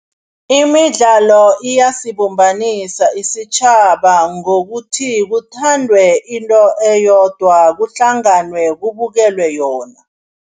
Imidlalo iyasibumbanisa isitjhaba ngokuthi kuthandwe into eyodwa, kuhlanganwe kubukelwe yona.